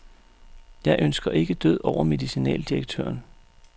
Jeg ønsker ikke død over medicinaldirektøren.